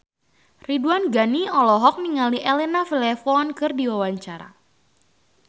Ridwan Ghani olohok ningali Elena Levon keur diwawancara